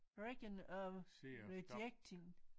Region of rejecting